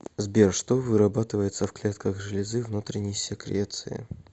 сбер что вырабатывается в клетках железы внутренней секреции